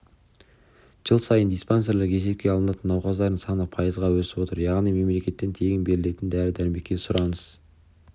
жыл сайын диспансерлік есепке алынатын науқастардың саны пайызға өсіп отыр яғни мемлекеттен тегін берілетін дәрі-дәрмекке сұраныс